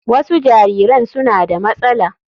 Wasu jariran suna da matsala.